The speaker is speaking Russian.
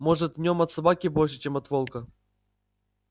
может в нем от собаки больше чем от волка